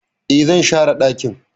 E, zan share dakin.